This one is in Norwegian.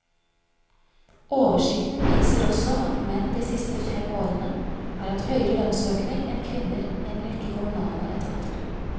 Oversikten viser også at menn de siste fem årene har hatt høyere lønnsøkning enn kvinner i en rekke kommunale etater.